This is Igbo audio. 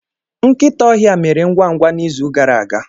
Nkịta ọhịa mere ngwa ngwa n'izu gara aga.